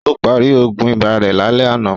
Ó parí Ògùn ibà rẹ̀ lálẹ́ àná